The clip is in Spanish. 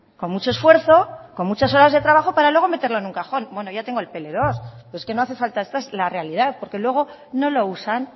con mucho esfuerzo con muchas horas de trabajo para luego meterlo en un cajón bueno ya tengo el pe ele dos es que no hace falta esta es la realidad porque luego no lo usan